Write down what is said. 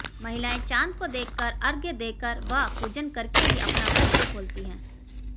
महिलाएं चांद को देखकर अर्घ्य देकर व पूजन करके ही अपना व्रत जो खोलती हैं